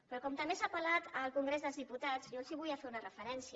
però com també s’ha parlat al congrés dels diputats jo els volia fer una referència